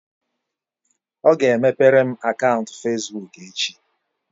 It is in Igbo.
Ọ ga-emepere m akaụntụ fesbuk echi